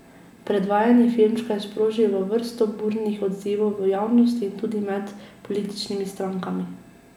Predvajanje filmčka je sprožilo vrsto burnih odzivov v javnosti in tudi med političnimi strankami.